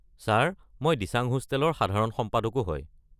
Sir, মই দিচাং হোষ্টেলৰ সাধাৰণ সম্পাদকো হয়।